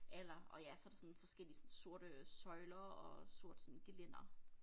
Alder og ja så der sådan forskellige sådan sorte søjler og sort sådan gelænder